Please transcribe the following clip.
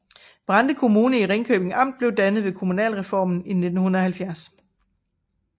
Brande Kommune i Ringkøbing Amt blev dannet ved kommunalreformen i 1970